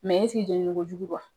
jeninikojugu don wa?